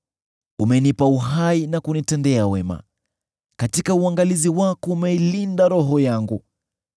Umenipa uhai na kunitendea wema, katika uangalizi wako umeilinda roho yangu.